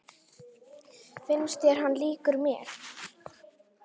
Finnst þér hann líkur mér?